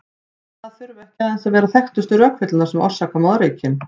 Og það þurfa ekki aðeins að vera þekktustu rökvillurnar sem orsaka moðreykinn.